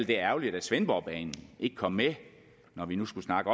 det er ærgerligt at svendborgbanen ikke kom med når vi nu skulle snakke